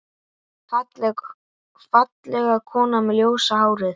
Fallega konan með ljósa hárið.